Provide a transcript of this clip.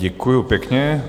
Děkuji pěkně.